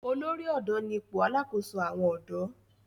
olórí odò ní ipò alàkóso àwọn odò.